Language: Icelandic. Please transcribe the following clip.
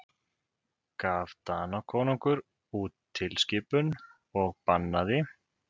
Gaf Danakonungur út tilskipun og bannaði